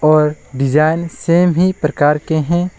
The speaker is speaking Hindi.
और डिजाइन सेम ही प्रकार के हैं।